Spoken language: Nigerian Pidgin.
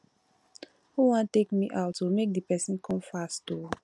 who wan take me out oo make the person come fast oo